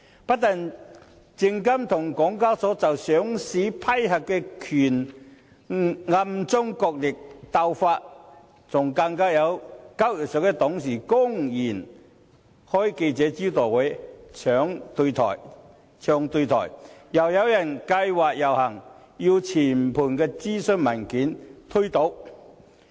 不單證監會和港交所就上市批核權暗中角力鬥法，更有交易所董事公然召開記者招待會"唱對台"；又有人計劃遊行，要全盤推倒諮詢文件。